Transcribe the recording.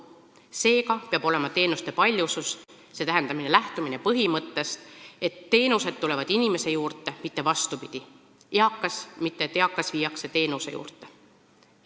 Seega peab olema teenuste paljusus, st lähtumine põhimõttest, et teenused tulevad inimese juurde, mitte vastupidi, et eakas viiakse teenuse juurde.